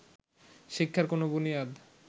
শিক্ষার কোন বুনিয়াদ